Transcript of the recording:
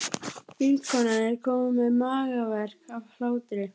Vinkonan er komin með magaverk af hlátri.